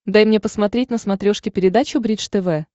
дай мне посмотреть на смотрешке передачу бридж тв